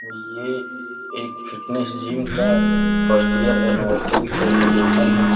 और ये एक फिटनेस जिम का फर्स्ट इयर एनिवर्सरी सेलिब्रेशन है।